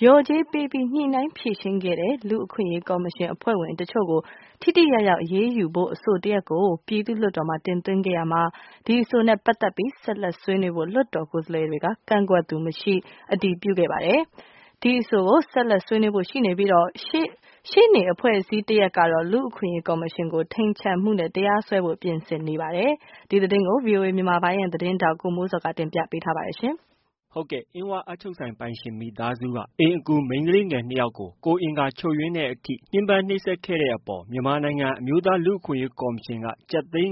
လျော်ကြေးပေးပြီး ညှိနှိုင်းဖြေရှင်းခဲ့တဲ့ လူ့အခွင့်အရေးကော်မရှင်အဖွဲ့ဝင်အချို့ကို ထိထိရောက်ရောက်အရေးယူဖို့အဆိုတရပ်ကို ပြည်သူ့လွှတ်တော်မှာတင်သွင်းခဲ့ရာမှာ ဒီအဆိုနဲ့ပတ်သက်ပြီး ဆက်လက်ဆွေးနွေးဖို့ လွှတ်တော်ကိုယ်စားလှယ်တွေက ကန့်ကွက်သူမရှိ အတည်ပြုခဲ့ပါတယ်။ ဒီအဆိုကို ဆက်လက်ဆွေးနွေးဖို့ ရှိနေပြီး ရှေ့နေအဖွဲ့အစည်းတရပ်ကတော့ လူ့အခွင့်အရေးကေ်ာမရှင်ကို ထိန်ချန်မှုနဲ့ တရားစွဲဖို့ ပြင်ဆင်နေပါတယ်။ ဒီသတင်းကို ဗွီအိုအေမြန်မာပိုင်းရဲ့သတင်းထောက် ကိုမိုးဇော်က တင်ပြထားပါတယ်။ အင်းဝအပ်ချုပ်ဆိုင်ပိုင်ရှင်မိသားစုက အိမ်အကူမိန်းကလေးငယ်၂ယောက်ကို ကိုယ်အင်္ဂါချို့ယွင်းတဲ့အထိ ညှင်းပန်းနှိပ်စက်ခံခဲ့တဲ့အပေါ် မြန်မာနိုင်ငံ အမျိုးသားလူ့အခွင့်အရေးကော်မရှင်က ကျပ်သိန်း